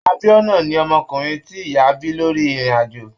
Abiona ni ọmọkùnrin ti ìyá bí lórí irin-ajo.